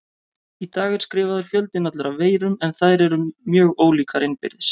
Í dag er skrifaður fjöldinn allur af veirum en þær eru mjög ólíkar innbyrðis.